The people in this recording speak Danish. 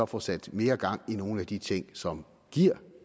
få sat mere gang i nogle af de ting som giver